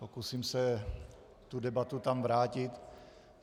Pokusím se tu debatu tam vrátit.